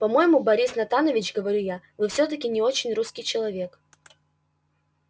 по-моему борис натанович говорю я вы всё-таки не очень русский человек